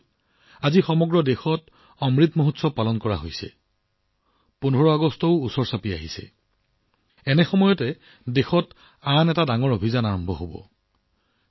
বন্ধুসকল আজি যেতিয়া সমগ্ৰ দেশতে অমৃত মহোৎসৱৰ প্ৰতিধ্বনি হৈছে ১৫ আগষ্টৰ সমাগত তেতিয়া দেশত আন এক বৃহৎ অভিযান আৰম্ভ হব